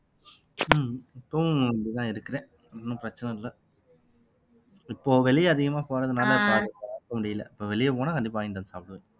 உம் இப்பவும் அப்படித்தான் இருக்கிறேன் ஒண்ணும் பிரச்சனை இல்லை இப்போ வெளியே அதிகமா போறதுனாலே முடியலை இப்போ வெளியே போனா கண்டிப்பா வாங்கிட்டு வந்து சாப்பிடுவேன்